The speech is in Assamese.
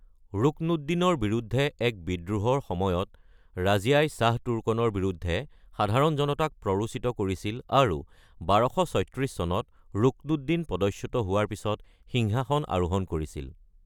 ৰুকনুদ্দিনৰ বিৰুদ্ধে এক বিদ্ৰোহৰ সময়ত ৰাজিয়াই শ্বাহ তুৰ্কনৰ বিৰুদ্ধে সাধাৰণ জনতাক প্ৰৰোচিত কৰিছিল, আৰু ১২৩৬ চনত ৰুকনুদ্দিন পদচ্যুত হোৱাৰ পিছত সিংহাসন আৰোহণ কৰিছিল।